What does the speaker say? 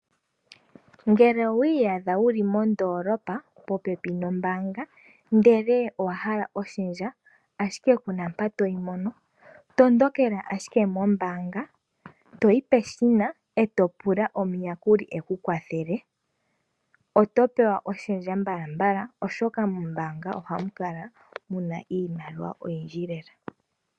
Ngele owiiyadha wuli mondoolopa popepi nombaanga ndele owa hala oshendja ashike kuna mpa toyi mono, tondokela ashike mombaanga etoyi peshina eto pula omuyakuli ekukwathele. Otopewa oshendja mbala mbala oshoka mombaanga ohamu kala muna iimaliwa oyindji lela.